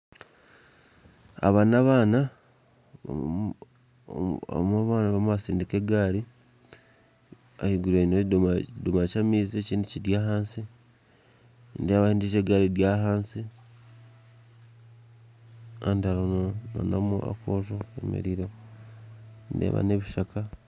Aba n'abana omwe omu bana arimu nasindika egaari ahiguru ayineho ekidomora ky'amaizi ekindi kiri ahansi, nindeeba endiijo egaari eri ahansi, kandi hariho na n'akoojo kemerireho, nindeeba n'ebishaka.